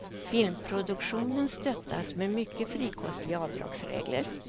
Filmproduktionen stöttas med mycket frikostiga avdragsregler.